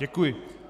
Děkuji.